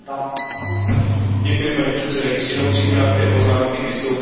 Paní předsedající, jenom tři krátké poznámky k vystoupení pana komisaře.